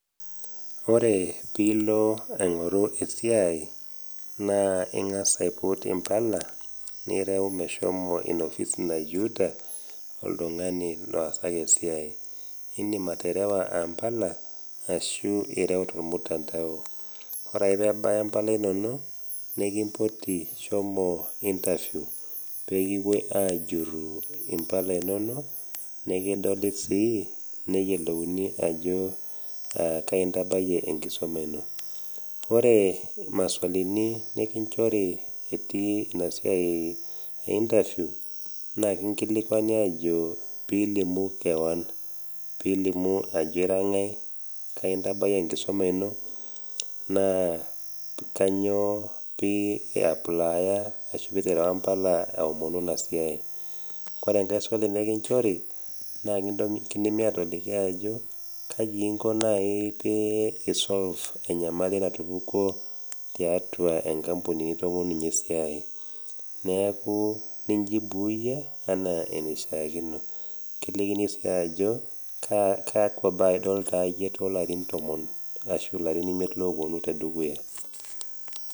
Ore pilo aingoru esiai naa ingas aiput impala nireu meshomo inoofisi nayieuta oltungani loosaki esiai , indim aterewa impala ashu ireu tormutandao , ore ake pebaya impala inonok nekimpoti shomo interview pekipuoi ajuru impala inono , nekidoli sii neyiolouni ajo kai intabayie enkisuma ino . Ore maswalini nikinchori itii inasiai einterview naa kinkilikwani ajo pilimu kewon , pilimu ajo ira ngae , kai ntabayie enkisuma ino naa kainyio piaplaya ashu piterewa mpala aomonu inasiai .Ore enkae swali nekinchori naa kindimi atoliki ajo kaji inko nai pee inko pisolve enyamali natumi tiatua enkampuni nitomonunye esiai neeku nijibu iyie enaa enaishiakino , kilikini sii ajo ashu larin oimiet oponu tedukuya .